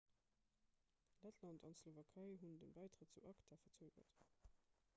lettland an d'slowakei hunn de bäitrëtt zu acta verzögert